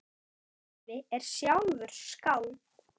Afi er sjálfur skáld.